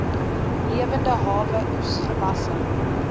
lewende hawe oesgewasse